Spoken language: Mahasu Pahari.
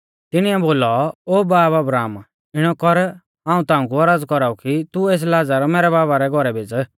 तिणीऐ बोलौ ओ बाब अब्राहम इणौ कर हाऊं ताऊं कु औरज़ कौराऊ कि तू एस लाज़र मैरै बाबा रै घौरै भेज़